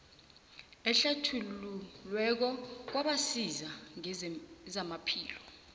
ehlathululweko kwabasiza ngezamaphilo